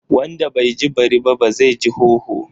Wanda bai ji bari ba zai ji hoho.